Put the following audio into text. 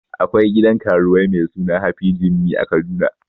Akwai gidan karuwai mai suna happy jimmy a kaduna